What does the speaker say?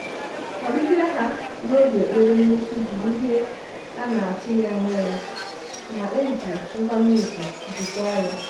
Ọbịbịa ha n’oge ekpere mmechi bụ ihe a na-atụghị anya ya ma e ji nkwanye ùgwù jikwaa ya.